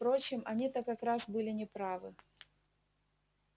впрочем они-то как раз были не правы